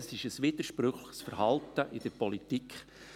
Dies ist ein widersprüchliches Verhalten in der Politik.